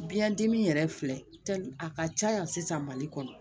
Biɲɛ dimi yɛrɛ filɛli a ka ca yan sisan mali kɔnɔ